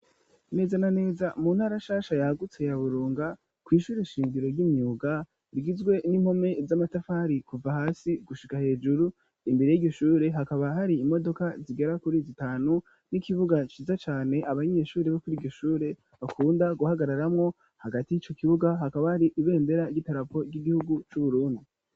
Neza na neza mu ntara shasha yagutse ya Burunga kw'ishure shingiro ry'imyuga rigizwe n'impome z'amatafari kuva hasi gushika hejuru imbere yiryo shure hakaba hari imodoka zigera kuri zitanu n'ikibuga ciza cane abanyeshuri bo kuri iryo shure bakunda guhagararamwo hagati yico kibuga hakaba hari ibendera ry'idarapo ry'igihugu cu Burundi.